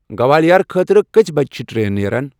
گوالِیار خٲطرٕ کٕژِ بج چِھ ٹرین نیران ؟